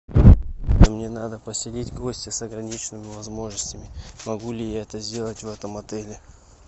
мне надо поселить гостя с ограниченными возможностями могу ли я это сделать в этом отеле